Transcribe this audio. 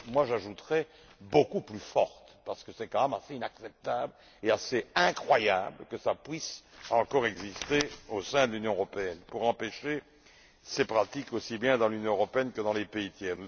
J'ajouterais beaucoup plus forte parce que c'est tout de même assez inacceptable et assez incroyable que cela puisse encore exister au sein de l'Union européenne afin d'empêcher ces pratiques aussi bien dans l'Union européenne que dans les pays tiers.